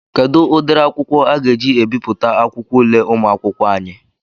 Kedụ ụdịrị akwụkwọ aga eji ebipụta akwụkwọ ule ụmụakwụkwọ anyị?